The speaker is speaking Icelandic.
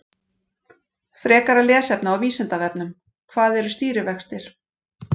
Frekara lesefni á Vísindavefnum: Hvað eru stýrivextir?